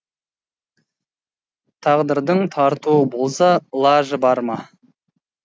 тағдырдың тартуы болса ылажы бар ма